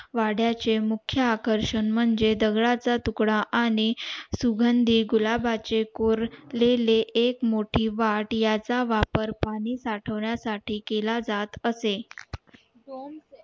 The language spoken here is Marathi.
वड्या चे मुख्य आकर्षण म्हणजे दगडा चा तुकडा आणि सुघंदीत गुलाबाचे कोरलेले एक मोठे याचा वापर पाणी साठवण्या साठी केला जात असे